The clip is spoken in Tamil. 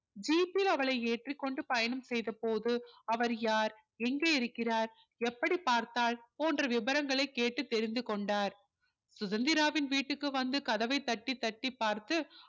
jeep யில் அவளை ஏற்றி கொண்டு பயணம் செய்த போது அவர் யார் எங்கே இருக்கிறார் எப்படி பார்த்தார் போன்ற விபரங்களை கேட்டு தெரிந்து கொண்டார் சுதந்திராவின் வீட்டிற்கு வந்து கதவை தட்டி தட்டி பார்த்து